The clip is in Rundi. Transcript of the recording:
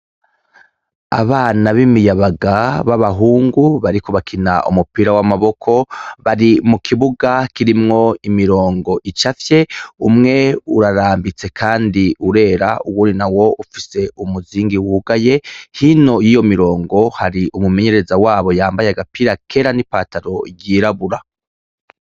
Abana b'imiyabaga b'abahungu bariko bakina umupira w'amaboko, bari mu kibuga kirimwo imirongo icafye, umwe urarambitse kandi urera uwundi nawo ufise umuzingi wugaye, hino yiyo mirongo hari umumenyereza wabo yambaye kera n'ipantaro ryirabura.